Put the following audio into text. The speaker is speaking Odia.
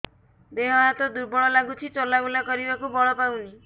ଦେହ ହାତ ଦୁର୍ବଳ ଲାଗୁଛି ଚଲାବୁଲା କରିବାକୁ ବଳ ପାଉନି